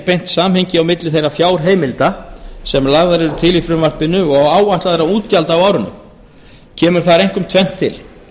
beint samhengi á milli þeirra fjárheimilda sem lagðar eru til í frumvarpinu og áætlaðra útgjalda á árinu kemur þar einkum tvennt til